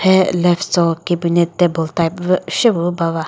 phe left cho cabinet table type vü shepü bava.